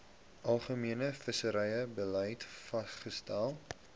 algemene visserybeleid vasgestel